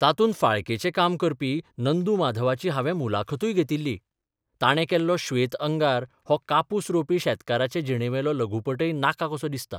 तातूंत फाळकेचें काम करपी नंदू माधवाची हांवें मुलाखतूय घेतिल्ली ताणें केल्लो 'श्वेत अंगार 'हो कापूस रोवपी शेतकाराचे जिणेवेलो लघुपटय नाका कसो दिसता.